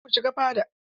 Kar ku shiga fada!